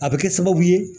A bɛ kɛ sababu ye